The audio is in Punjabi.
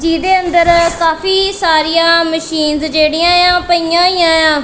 ਜਿਹਦੇ ਅੰਦਰ ਕਾਫੀ ਸਾਰੀਆਂ ਮਸ਼ੀਨਸ ਜਿਹੜੀਆਂ ਆ ਉਹ ਪਈਆਂ ਹੋਈਆਂ ਆ।